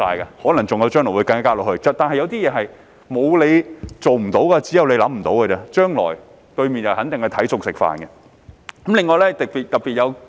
有些事情是"沒有你做不到，只有你想不到"而已，對面陣營將來肯定會隨機應變。